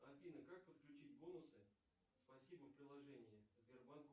афина как подключить бонусы спасибо в приложении сбербанк